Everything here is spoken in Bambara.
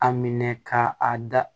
A minɛ ka a da